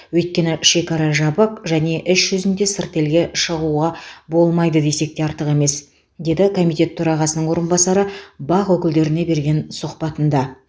өйткені шекара жабық және іс жүзінде сырт елге шығуға болмайды десек те артық емес деді комитет төрағасының орынбасары бақ өкілдеріне берген сұхбатында